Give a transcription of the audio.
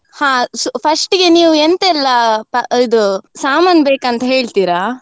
ಹಾ first ಇಗೆ ನೀವು ಎಂತೆಲ್ಲಾ ಇದು ಸಮಾನ್ ಬೇಕು ಅಂತ ಹೇಳ್ತೀರಾ?